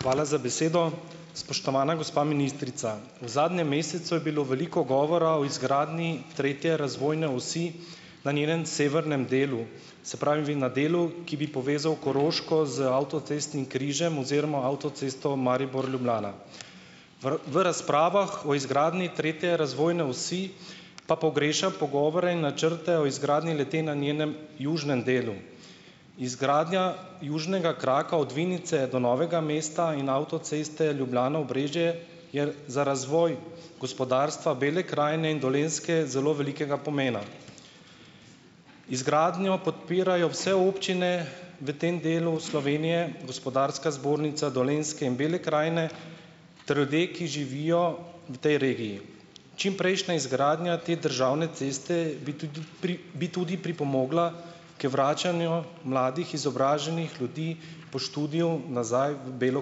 Hvala za besedo! Spoštovana gospa ministrica, v zadnjem mesecu je bilo veliko govora o izgradnji tretje razvojne osi na njenem severnem delu, se pravi, na delu, ki bi povezal Koroško z avtocestnim križem oziroma avtocesto Maribor-Ljubljana. V v razpravah o izgradnji tretje razvojne osi pa pogrešam pogovore in načrte o izgradnji le-te na njenem južnem delu. Izgradnja južnega kraka od Vinice do Novega Mesta in avtoceste Ljubljana-Obrežje je za razvoj gospodarstva Bele krajine in Dolenjske zelo velikega pomena. Izgradnjo podpirajo vse občine v tem delu Slovenije, Gospodarska zbornica Dolenjske in Bele krajine ter ljudje, ki živijo v tej regiji. Čimprejšnja izgradnja te državne ceste bi tudi bi tudi pripomogla k vračanju mladih izobraženih ljudi po študiju nazaj v Belo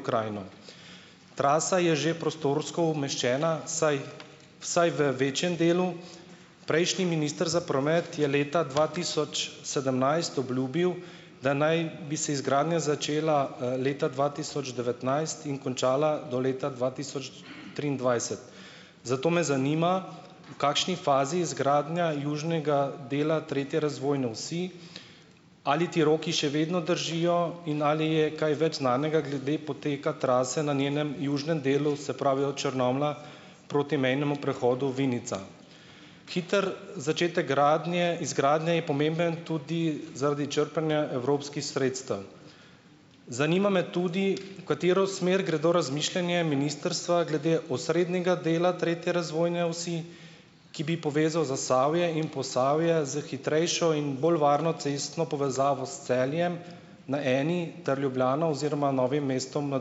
krajino. Trasa je že prostorsko umeščena, vsaj vsaj v večjem delu. Prejšnji minister za promet je leta dva tisoč sedemnajst obljubil, da naj bi se izgradnja začela, leta dva tisoč devetnajst in končala do leta dva tisoč triindvajset. Zato me zanima, v kakšni fazi je izgradnja južnega dela tretje razvojne osi. Ali ti roki še vedno držijo? In ali je kaj več znanega glede poteka trase na njenem južnem delu, se pravi od Črnomlja proti mejnemu prehodu Vinica? Hitro začetek gradnje izgradnje je pomemben tudi zaradi črpanja evropskih sredstev. Zanima me tudi, v katero smer gredo razmišljanja ministrstva glede osrednjega dela tretje razvojne osi, ki bi povezal Zasavje in Posavje s hitrejšo in bolj varno cestno povezavo s Celjem na eni ter Ljubljano oziroma Novim mestom na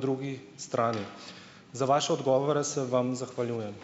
drugi strani? Za vaše odgovore se vam zahvaljujem.